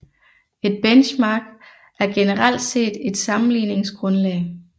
Et benchmark er generelt set et sammenligningsgrundlag